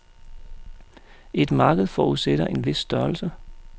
Et marked forudsætter en vis størrelse.